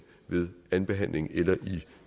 ved andenbehandlingen eller i